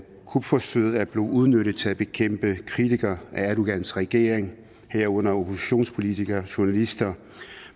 kupforsøget er blevet udnyttet til at bekæmpe kritikere af erdogans regering herunder oppositionspolitikere journalister